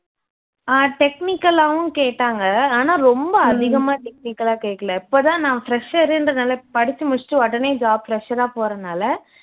அஹ் technical ஆவும் கேட்டாங்க ஆன ரொம்ப அதிகமா technical ஆ கேக்கல இப்போதான் நான் fresher ன்றதால படிச்சு முடிச்சுட்டு உடனே job fresher ஆ போறதுனால